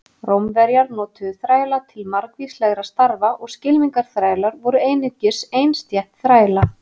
Rómverjar notuðu þræla til margvíslegra starfa og skylmingaþrælar voru einungis ein stétt þræla.